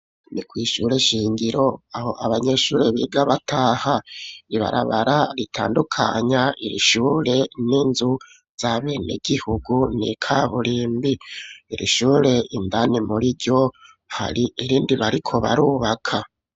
Ni kw'ishure shingiro, aho abanyeshure, biga bataha, ibarabara ritandukanya, iri shure, n'inzu z'abenegihugu, ni ikaburimbi; iri shure, indani muri ryo, hari irindi, bariko barubaka.